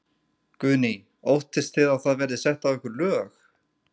Guðný: Óttist þið að það verði sett á ykkur lög?